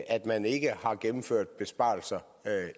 at man ikke har gennemført besparelser